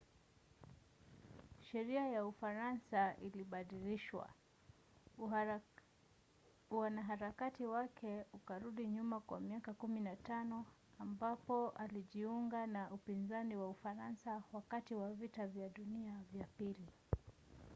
sheria ya ufaransa ilibadilishwa. uanaharakati wake ukarudi nyuma kwa miaka 15 ambapo alijiunga na upinzani wa ufaransa wakati wa vita vya dunia vya ii